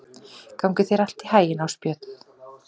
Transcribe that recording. Gangi þér allt í haginn, Ásbjörn.